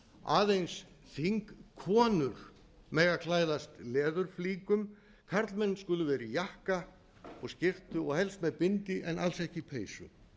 aðeins þingkonur mega klæðast leðurflíkum karlmenn skulu vera í jakka og skyrtu og helst með bindi en alls ekki peysu